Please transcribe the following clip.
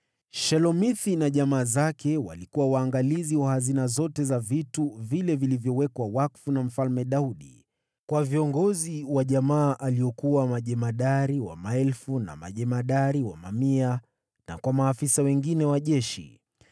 Shelomithi na jamaa zake walikuwa waangalizi wa hazina zote za vitu vile vilivyowekwa wakfu na Mfalme Daudi, kwa viongozi wa jamaa waliokuwa majemadari wa maelfu na majemadari wa mamia, na kwa maafisa wengine wa jeshi.